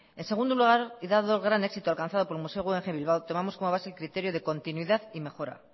en segundo lugar y dado el gran éxito alcanzado por el museo guggenheim bilbao tomamos como base el criterio de continuidad y mejora